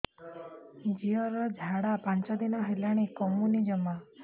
ଝିଅର ଝାଡା ପାଞ୍ଚ ଦିନ ହେଲାଣି କମୁନି ଜମା